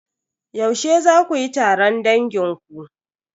Yaushe za kuyi taron dangin ku?